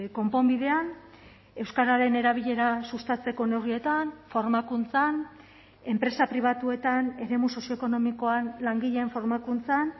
konponbidean euskararen erabilera sustatzeko neurrietan formakuntzan enpresa pribatuetan eremu sozioekonomikoan langileen formakuntzan